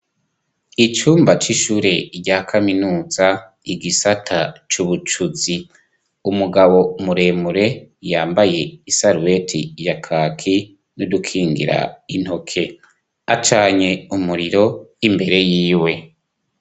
Icumba c'ishure rya kaminuza igisata c'ubucuzi, umugabo muremure yambaye isaruweti ya kaki n'udukingira intoke, acanye umuriro imbere yiwe.